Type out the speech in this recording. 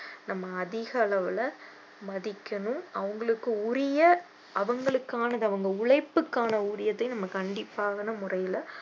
நம்ம அதிக அளவுல மதிக்கணும் அவங்களுக்கு உரிய அவங்களுக்கானது அவங்க உழைப்புக்கான ஊதியத்தை நம்ம கண்டிப்பான முறையில